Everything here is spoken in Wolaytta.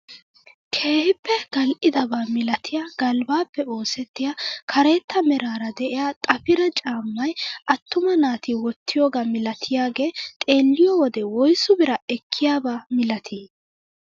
Keehippe gal"idaba milatiyaa galbbaappe oosettiyaa karetta meraara de'iyaa xafira caammaay attuma naati woottiyoogaa milatiyaage xeelliyoo wode woysu biraa ekkiyaaba milatii?